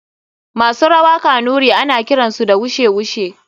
Masu rawa kanuri ana kiransu da wushe wushe.